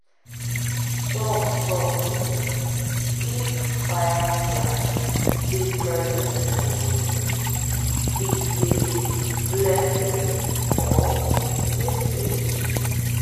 some tok say if fireflies dey present for your room e dey blessing or message.